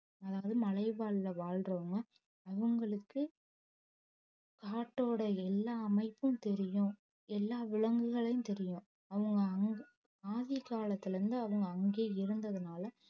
அதாவது மலைவாழ்ல வாழ்றவங்க அவங்களுக்கு காட்டோட எல்லா அமைப்பும் தெரியும் எல்லா விலங்குகளையும் தெரியும் அவங்க ஆதி காலத்துல இருந்து அவங்க அங்கேயே இருந்ததுனால